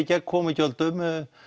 gegn komugjöldum